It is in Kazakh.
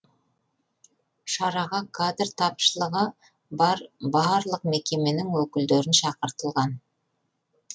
шараға кадр тапшылығы бар барлық мекеменің өкілдерін шақыртылған